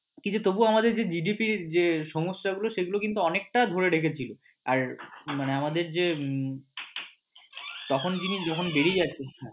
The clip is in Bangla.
কিন্তু তবুও আমাদের যে GDP যে সমস্যা গুলো সেগুলো কিন্তু অনেকটাই ধরে রেখেছিলো আর মানে আমাদের যে তখন তিনি যখন বেরিয়ে যাচ্ছেন